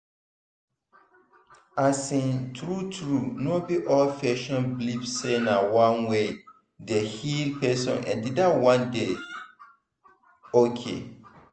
asin true true no be all patients believe say na one way dey heal person and dat one dey ok.